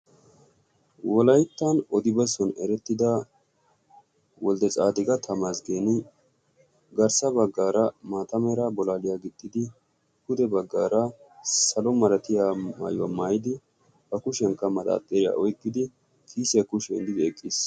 Wolayttan odi bessuwaan erettida woldetsaadiqa tamasgeeni garssa baggaara maata mera bulaaliyaa gixxidi pude bagaara salo malatiyaa maayuwaa maayidi ba kushiyankka manaaxiriyaa wottidwottidi kiisiyaan kushiyaa yeeddidi eqqiis.